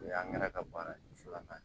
O y'angɛrɛ ka baara ye filanan ye